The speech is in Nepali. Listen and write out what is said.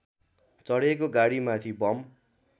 चढेको गाडीमाथि बम